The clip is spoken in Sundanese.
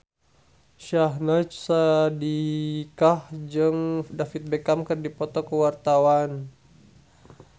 Syahnaz Sadiqah jeung David Beckham keur dipoto ku wartawan